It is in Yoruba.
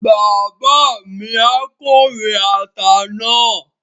Bàbá mi á kórè ata náà